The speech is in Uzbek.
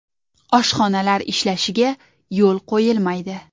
Oshxonalar ishlashiga yo‘l qo‘yilmaydi.